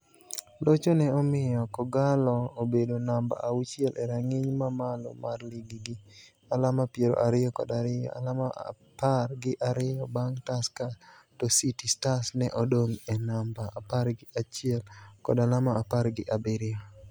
Locho ne omiyo K'Ogalo obedo namba auchiel e rang'iny ma malo mar lig gi alama piero ariyo kod ariyo, alama apar gi ariyo bang' Tusker to City Stars ne odong' e namba apar gi achiel kod alama apar gi abiriyo.